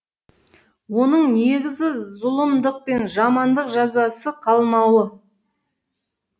оның негізі зұлымдық пен жамандық жазасыз қалмауы